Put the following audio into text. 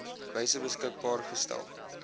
wyse beskikbaar gestel